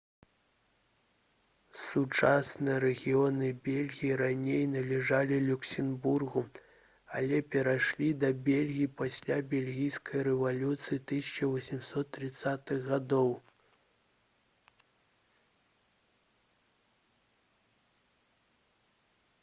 сучасныя рэгіёны бельгіі раней належалі люксембургу але перайшлі да бельгіі пасля бельгійскай рэвалюцыі 1830-х гг